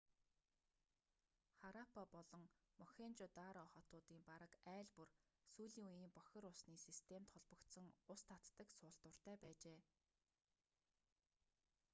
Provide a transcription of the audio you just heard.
хараппа болон мохенжо-даро хотуудын бараг айл бүр сүүлийн үеийн бохир усны системд холбогдсон ус татдаг суултууртай байжээ